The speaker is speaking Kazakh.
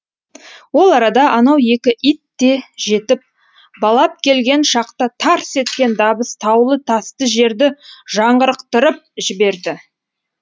ол арада анау екі ит те жетіп балап келген шақта тарс еткен дабыс таулы тасты жерді жаңғырықтырып жіберді